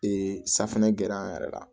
safinɛ gɛrɛ an yɛrɛ la